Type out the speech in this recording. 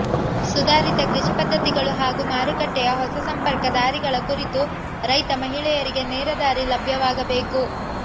ಸುಧಾರಿತ ಕೃಷಿ ಪದ್ಧತಿಗಳು ಹಾಗೂ ಮಾರುಕಟ್ಟೆಯ ಹೊಸ ಸಂಪರ್ಕ ದಾರಿಗಳ ಕುರಿತು ರೈತ ಮಹಿಳೆಯರಿಗೆ ನೇರ ದಾರಿ ಲಭ್ಯವಾಗಬೇಕು